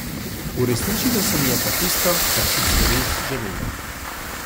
Uresničilo se mi je pa tisto, kar sem si res želela.